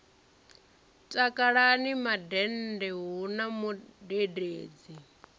takalani mandende hu na mudededzi